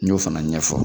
N y'o fana ɲɛfɔ